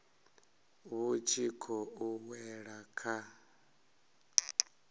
vhu tshi khou wela kha